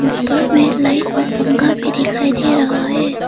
ऊपर में लाइट और पंखा भी दिखाई दे रहा है।